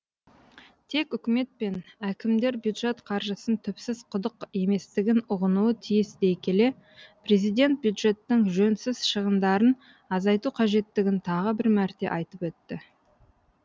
тек үкімет пен әкімдер бюджет қаржысын түпсіз құдық еместігін ұғынуы тиіс дей келе президент бюджеттің жөнсіз шығындарын азайту қажеттігін тағы бір мәрте айтып өтті